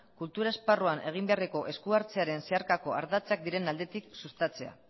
kultur esparruan egin beharreko eskuhartzearen zeharkako ardatzak diren aldetik sustatzea